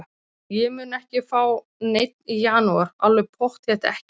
Ég mun ekki fá neinn í janúar, alveg pottþétt ekki.